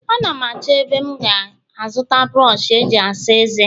Ana m achọ ebe m ga-azụta brọsh eji asa eze